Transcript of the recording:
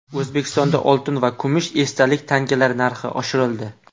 O‘zbekistonda oltin va kumush esdalik tangalar narxi oshirildi.